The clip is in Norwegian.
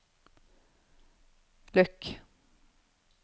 lukk